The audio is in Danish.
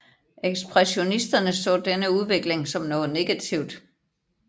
Ekspressionisterne så denne udvikling som noget negativt